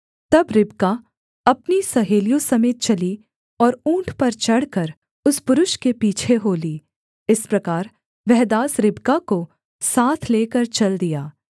तब रिबका अपनी सहेलियों समेत चली और ऊँट पर चढ़कर उस पुरुष के पीछे हो ली इस प्रकार वह दास रिबका को साथ लेकर चल दिया